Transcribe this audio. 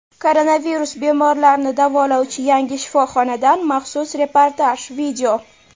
Koronavirus bemorlarini davolovchi yangi shifoxonadan maxsus reportaj.